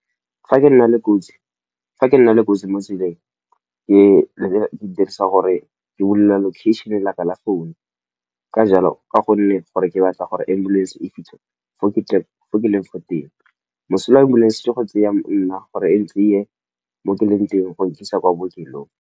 Fa ke nna le kotsi mo tseleng ke dirisa gore ke bolelela location laka la phone. Ka gonne gore ke batla gore ambulance e fitlhe fo ke leng fa teng. Mosola wa ambulance ke go tseya nna gore e ntseye mo ke leng teng go nkisa kwa bookelong.